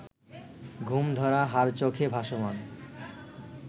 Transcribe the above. ঘুমধরা হাড় চোখে ভাসমান